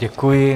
Děkuji.